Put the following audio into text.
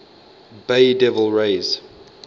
bay devil rays